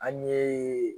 An ɲe